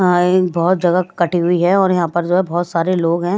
बहुत जगह कटी हुई है और यहां पर जो है बहुत सारे लोग हैं।